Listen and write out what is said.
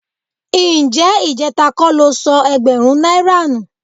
Ǹjẹ́ ìjẹ́ta kọ́ lo sọ ẹgbẹ̀rún náírà nù?